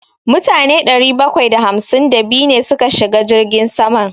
Mutane ɗari bakwai da hamsin da biyu ne suka shiga jirgin saman.